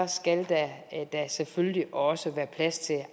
skal der da selvfølgelig også være plads til